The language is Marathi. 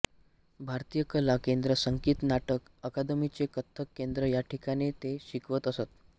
भारतीय कला केंद्र संगीत नाटक अकादमीचे कथ्थक केंद्र या ठिकाणी ते शिकवत असत